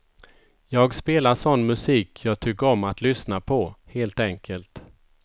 Jag spelar sån musik jag tycker om att lyssna på, helt enkelt.